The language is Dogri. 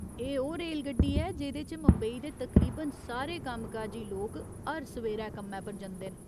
एह् ओह् रेलगड्डी ऐ जेह्दे च मुंबई दे तकरीबन सारे कामकाजी लोक हर सवेरै कम्मै पर जंदे न।